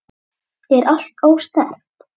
Er allt ósnert?